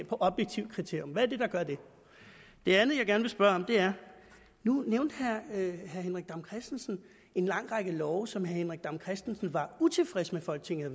fra objektive kriterier hvad er det der gør det det andet jeg gerne vil spørge om er nu nævnte herre henrik dam kristensen en lang række love som herre henrik dam kristensen var utilfreds med at folketinget